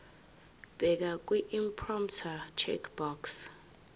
bheka kwiimporter checkbox